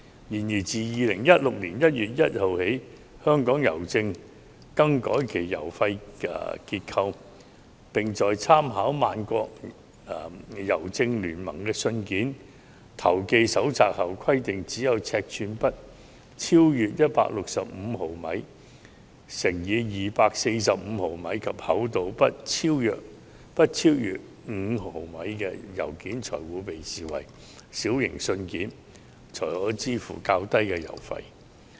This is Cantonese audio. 然而，自2016年1月1日起，香港郵政更改了郵費結構，並在參考萬國郵政聯盟的信件投寄手冊後規定，只有尺寸不超逾165毫米乘以245毫米，以及厚度不超逾5毫米的信件才會被視為"小型信件"，可以支付較低郵費。